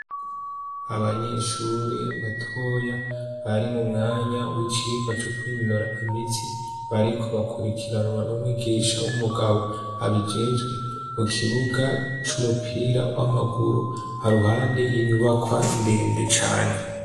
abanyeshure batoya bari mu mwanya w'icigwa co kwinonora imitsi bariko bakurikiranwa n'umwigisha w'umugabo abijejwe mu kibuga c'umupira w'amaguru ha ruhande y'inyubakwa ndende cane